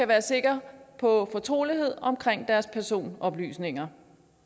være sikre på fortrolighed omkring deres personoplysninger